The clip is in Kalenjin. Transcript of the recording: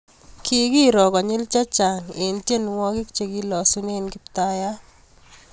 Kikiroo konyil chechang eng tienwogik chekilasunee kiptaiyat